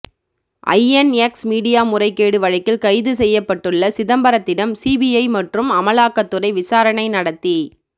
INX media முறைகேடு வழக்கில் கைது செய்யப்பட்டுள்ள சிதம்பரத்திடம் சிபிஐ மற்றும் அமலாக்கத்துறை விசாரணை நடத்தி